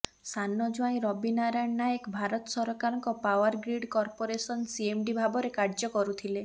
ସାନ ଜ୍ବାଇଁ ରବି ନାରାୟଣ ନାୟକ ଭାରତ ସରକାରଙ୍କ ପାୱାର ଗ୍ରିଡ୍ କର୍ପୋରେସନ ସିଏମ୍ଡି ଭାବରେ କାର୍ଯ୍ୟ କରୁଥିଲେ